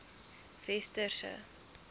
westerse